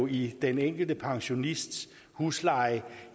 i den enkelte pensionists husleje